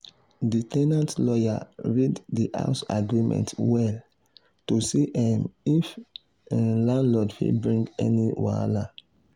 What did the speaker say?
the ten ant lawyer read the house agreement well to see um if um landlord fit bring any wahala.